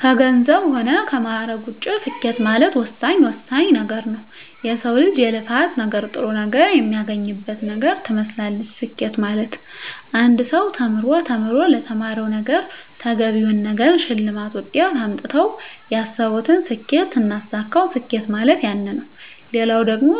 ከገንዘብ ሆነ ከማእረግ ውጭ ስኬት ማለት ወሳኝ ወሳኝ ነገረ ነዉ የሰው ልጅ የልፋት ነገር ጥሩ ነገር የሚያገኝበት ነገር ትመስላለች ስኬት ማለት አንድ ሰው ተምሮ ተምሮ ለተማረዉ ነገረ ተገቢውን ነገር ሸልማት ውጤት አምጥተው ያሰብቱን ስኬት ስናሳካዉ ስኬት ማለት ያነ ነዉ ሌላው ደግሞ